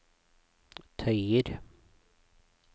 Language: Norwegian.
tøyer